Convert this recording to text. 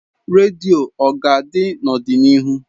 Radio ọ ga-adị n'ọdịnihu?